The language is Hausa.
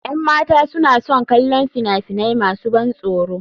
Yan mata suna son kallon fina-finai masu ban tsoro.